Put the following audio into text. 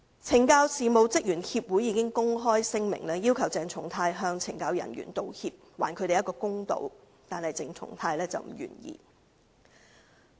懲教事務職員協會已發表公開聲明，要求鄭松泰議員向懲教人員道歉，還他們一個公道，但鄭松泰議員不願意這樣做。